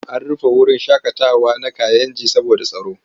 An rufe wurin shaƙatawa na Kayenji saboda tsaro.